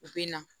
U bɛ na